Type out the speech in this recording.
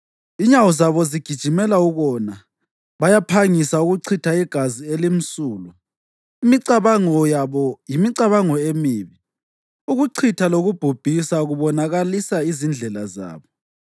Inyawo zabo zigijimela ukona; bayaphangisa ukuchitha igazi elimsulwa. Imicabango yabo yimicabango emibi; ukuchitha lokubhubhisa kubonakalisa izindlela zabo.